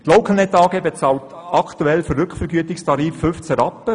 Die Localnet AG bezahlt zurzeit einen Rückvergütungstarif von 15 Rappen.